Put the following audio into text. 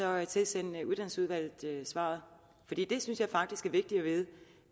jeg tilsende uddannelsesudvalget svaret for det synes jeg faktisk er vigtigt at vide